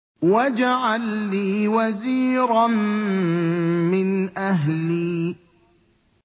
وَاجْعَل لِّي وَزِيرًا مِّنْ أَهْلِي